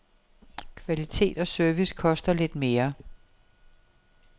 Kvalitet og service koster lidt mere.